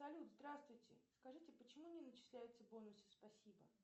салют здравствуйте скажите почему не начисляются бонусы спасибо